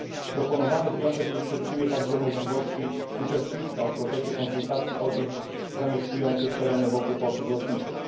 Proponowany wniosek nie przewiduje także możliwości uczestnictwa w procesie konsultacji osób zamieszkujących tereny wokół portów lotniczych.